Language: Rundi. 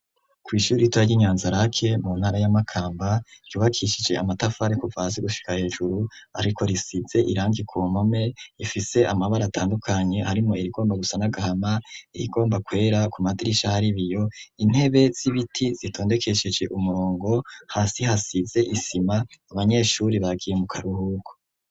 kw’ishuri ritoya ry'i nyanza-lac mu ntara ya makamba yubakishije amatafari kuva hasi gushika hejuru ariko risize irangi kumpome ifise amabara atandukanye arimo irigomba gusa n’agahama ,irigomba kwera ,ku madirisha haribiyo ,intebe z'ibiti zitondekesheje umurongo ,hasi hasize isima ,abanyeshuri bagiye mukaruhuko.